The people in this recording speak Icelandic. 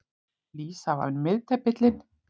Lísa var miðdepillinn.